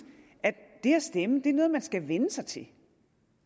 at det at stemme er noget man skal vænne sig til